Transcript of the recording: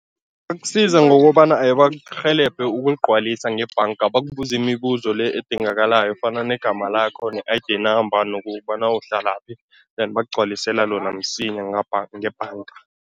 Bakusiza ngokobana bakurhelebhe ukuligcwalisa ngebhanga, bakubuze imibuzo le edingakalayo efana negama lakho ne-I_D number nokobana uhlalaphi then bakugcwalisela lona msinya ngebhanga.